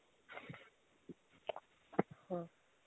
ਹਾਂ